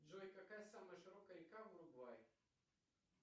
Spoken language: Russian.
джой какая самая широкая река в уругвае